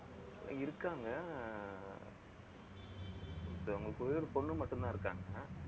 இருக்காங்க ஆஹ் அவங்கங்களுக்கு ஒரே ஒரு பொண்ணு மட்டும்தான் இருக்காங்க